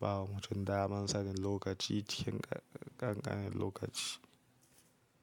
bawa mutum damar sanin lokaci cikin ƙanƙanin lokaci.